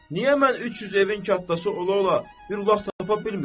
Niyə mən 300 evin kətxudası ola-ola bir lak tapa bilmirəm?